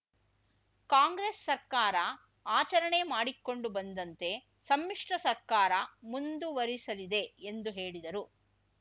ಕಾಂಗ್ರೆಸ್‌ ಸರ್ಕಾರ ಆಚರಣೆ ಮಾಡಿಕೊಂಡು ಬಂದಂತೆ ಸಮ್ಮಿಶ್ರ ಸರ್ಕಾರ ಮುಂದುವರಿಸಲಿದೆ ಎಂದು ಹೇಳಿದರು